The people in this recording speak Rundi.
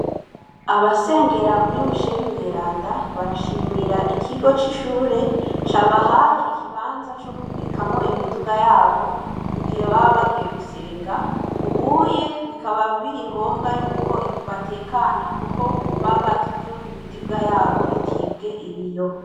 Abasengera Kur Michel mweranda, barishimira ikigo c'ishure cabahaye ikibanza co kubikamwo imiduga yabo , mugihe baba bagiye gusenga, ubuye bikaba biri ngombwa yuko batekana kuko baba baziko imiduga yabo itibwe ibiyo.